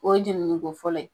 O ye jenini ko fɔlɔ ye.